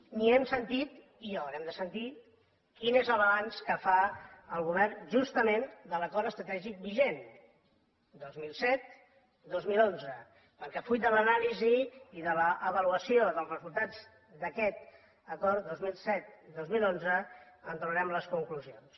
ni hem sentit i ho haurem de sentir quin és el balanç que fa el govern justament de l’acord estratègic vigent dos mil set dos mil onze perquè fruit de l’anàlisi i de l’avaluació dels resultats d’aquest acord dos mil set dos mil onze en traurem les conclusions